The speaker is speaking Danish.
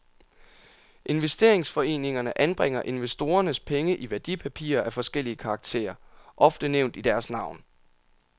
Investeringsforeningerne anbringer investorernes penge i værdipapirer af forskellig karakter, ofte nævnt i deres navn.